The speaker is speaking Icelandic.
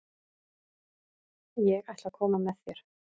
Ég ætla að koma með þér!